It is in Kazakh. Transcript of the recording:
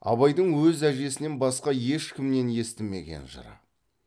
абайдың өз әжесінен басқа ешкімнен естімеген жыры